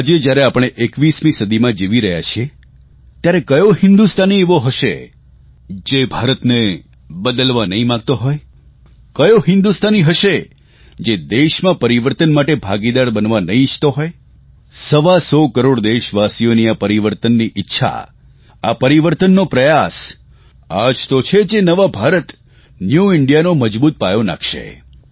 આજે જયારે આપણે 21મી સદીમાં જીવી રહ્યા છીએ ત્યારે કયો હિન્દુસ્તાની એવો હશે જે ભારતને બદલવા નહીં માગતો હોય કયો હિન્દુસ્તાની હશે જે દેશમાં પરિવર્તન માટે ભાગીદાર બનવા નહીં ઇચ્છતો હોય સવાસો કરોડ દેશવાસીઓની આ પરિવર્તનની ઇચ્છા આ પરિવર્તનનો પ્રયાસ આ જ તો છે જે નવા ભારત ન્યુ ઇન્ડિયાનો મજબૂત પાયો નાખશે